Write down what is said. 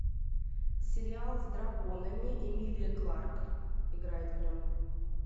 сериал с драконами эмилия кларк играет в нем